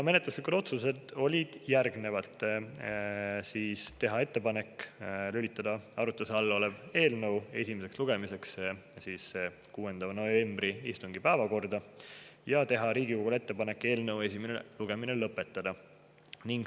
Menetluslikud otsused olid järgnevad: teha ettepanek lülitada arutluse all olev eelnõu esimeseks lugemiseks 6. novembri istungi päevakorda ja teha Riigikogule ettepanek eelnõu esimene lugemine lõpetada.